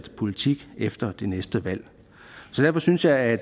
politik efter det næste valg så derfor synes jeg at